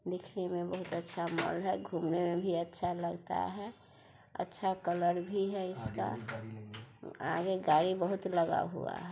देखने मे बहुत अच्छा मॉल है घूमने मे भी अच्छा लगता है अच्छा कलर भी है इसका आगे गाड़ी बहुत लगा हुआ है।